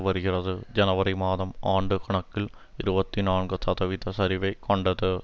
வருகிறது ஜனவரி மாதம் ஆண்டு கணக்கில் இருபத்தி நான்கு சதவிகித சரிவைக் கண்டது